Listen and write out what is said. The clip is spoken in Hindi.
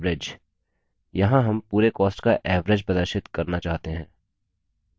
यहाँ हम पूरे cost का average प्रदर्शित करना चाहते हैं